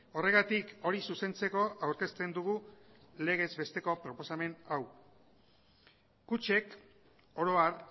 horregatik hori zuzentzeko aurkezten dugu legez besteko proposamen hau kutxek oro har